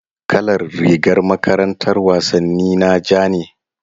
Kalar rigar makarantar wasanni na ja ne.